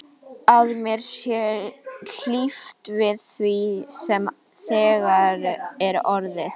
Að mér sé hlíft við því sem þegar er orðið.